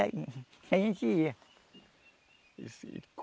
A a gente ia. E se